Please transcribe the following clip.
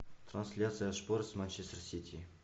трансляция шпор с манчестер сити